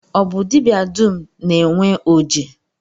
Ọ bụ dibịa dum na-enwe oji?